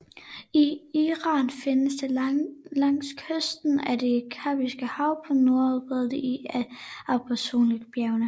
I Iran findes det langs kysten af det Kaspiske hav og på nordskråningerne af Alborzbjergene